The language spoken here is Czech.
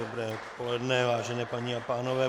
Dobré odpoledne, vážené paní a pánové.